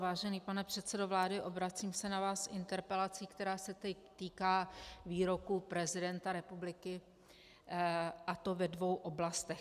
Vážený pane předsedo vlády, obracím se na vás s interpelací, která se týká výroků prezidenta republiky, a to ve dvou oblastech.